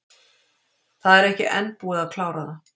Það er ekki enn búið að klára það.